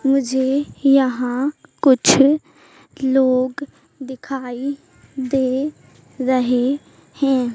मुझे यहां कुछ लोग दिखाई दे रहे हैं।